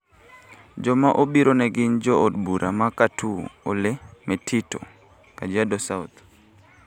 Joma obiro ne gin jo od bura ma Katoo ole Metito (Kajiado South),